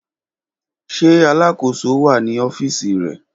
Ṣe Alakoso wa ni ọfiisi rẹ?